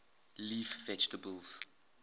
leaf vegetables